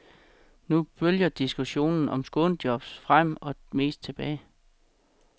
Nu bølger diskussionen om skånejob frem, og mest tilbage.